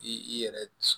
I i yɛrɛ